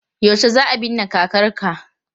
Yaushe za a binne kakarka?